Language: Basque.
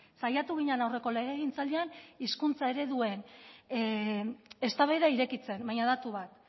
saiatu ginen aurreko legegintzaldian hizkuntza ereduan eztabaida irekitzen baina datu bat